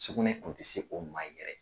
Sugunɛ kun tɛ se o ma yɛrɛ.